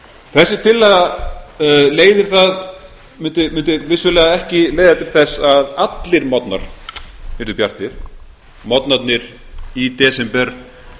þessi tillaga mundi vissulega ekki leiða til þess að allir morgnar yrðu bjartir morgnarnir í desember